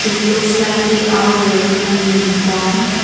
looks like they are wearing a uniform.